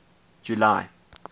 july